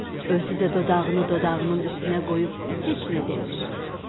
Özü də dodağını dodağının üstünə qoyub heç nə demir.